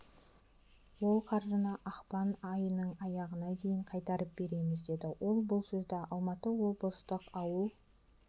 ол қаржыны ақпан айының аяғына дейін қайтарып береміз деді ол бұл сөзді алматы облыстық ауыл